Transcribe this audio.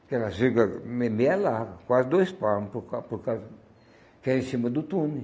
Aquelas virga me meia larga, quase dois palmo, por ca por ca porque é em cima do túnel.